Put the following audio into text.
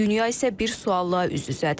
Dünya isə bir sualla üz-üzədir.